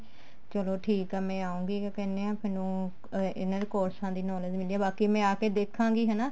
ਚਲੋ ਠੀਕ ਆ ਮੈਂ ਆਉਂਗੀ ਕਿਆ ਕਹਿਨੇ ਆਂ ਮੈਨੂੰ ਇਹਨਾ ਦੀ ਕੋਰਸਾਂ ਦੀ knowledge ਮਿਲਦੀ ਹੈ ਬਾਕੀ ਮੈਂ ਆ ਕੇ ਦੇਖਾਂਗੀ ਹਨਾ